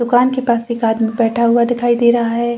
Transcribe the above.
दुकान के पास एक आदमी बैठा हुआ दिखाई दे रहा हैं।